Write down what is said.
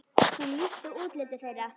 Hún lýsti útliti þeirra.